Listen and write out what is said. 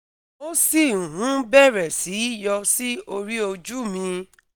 ó sì ń bẹ̀rẹ̀ sí í yọ sí orí ojú mi